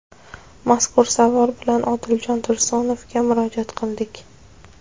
Mazkur savol bilan Odiljon Tursunovga murojaat qildik.